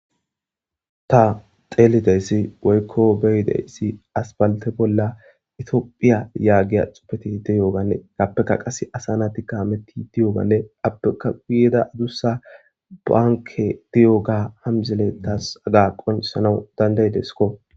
ta xeelideyssi woykko beyideyssi asbalte bolla itiophiya yaagiya xupeti diyooganne gappeka qas asa na ti kametti diyoganne abpekka uyeda adusa baanke diyo ga hamzeletas aga qonsanau dandaydesko